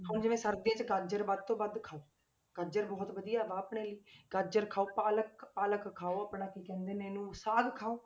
ਹੁਣ ਜਿਵੇਂ ਸਰਦੀਆਂ 'ਚ ਗਾਜ਼ਰ ਵੱਧ ਤੋਂ ਵੱਧ ਖਾਓ, ਗਾਜ਼ਰ ਬਹੁਤ ਵਧੀਆ ਵਾ ਆਪਣੇ ਲਈ, ਗਾਜ਼ਰ ਖਾਓ ਪਾਲਕ ਪਾਲਕ ਖਾਓ ਆਪਣਾ ਕੀ ਕਹਿੰਦੇ ਨੇ ਇਹਨੂੰ ਸਾਗ ਖਾਓ।